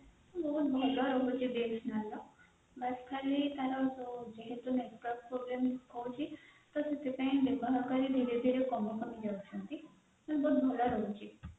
ବାସ ଖାଲି ତାଙ୍କର Jio ଜୋଉ network problem ହଉଛି ସେଥିପାଇଁ ବ୍ୟବହାରୀ ମାନେ